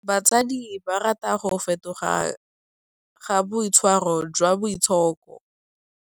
Batsadi ba rata go fetoga ga boitshwaro jwa Boitshoko.